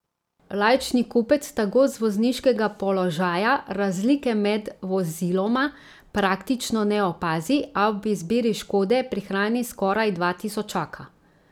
Laični kupec tako z vozniškega položaja razlike med voziloma praktično ne opazi, a ob izbiri škode prihrani skoraj dva tisočaka.